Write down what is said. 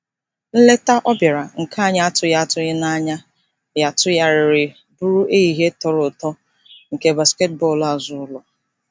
Nleta ọ bịara, nke anyị atụghị atụghị anya ya tụgharịrị bụrụ ehihie tọrọ ụtọ nke basketbọọlụ azụụlọ.